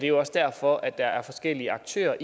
jo også derfor at forskellige aktører